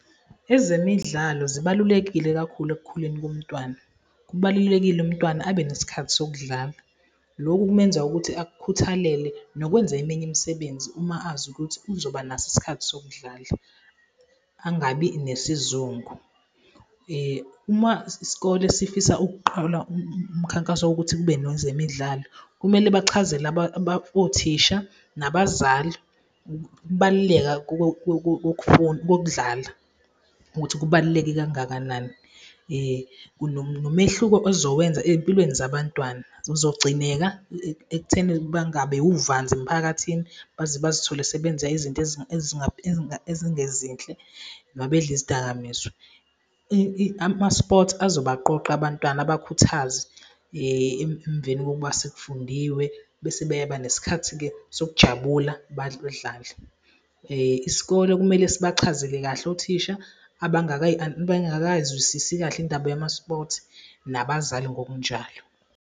Ezemidlalo zibalulekile kakhulu ekukhuleni komntwana. Kubalulekile umntwana abe nesikhathi sokudlala. Loku kumenza ukuthi akukhuthalele nokwenza eminye imisebenzi uma azi ukuthi uzoba naso isikhathi sokudlala, angabi nesizungu. Uma isikole sifisa ukuqola umkhankaso wokuthi kube nozemidlalo, kumele bachazele othisha nabazali ukubaluleka kokudlala ukuthi kubaluleke kangakanani, nomehluko ezowenza empilweni zabantwana, uzogcineka ekutheni bangabi uvanzi emphakathini baze bazithole sebenza izinto ezingezinhle mabedla izidakamizwa. Ama-sports azobaqoqa abantwana abakhuthaze emveni kokuba sekufundiwe bese beyaba nesikhathi-ke sokujabula badlale. Isikole kumele sibachazele kahle othisha abangakazwisisi kahle indaba yama-sports, nabazali ngokunjalo.